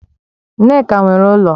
Nneka nwere ulo